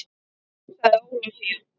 sagði Ólafía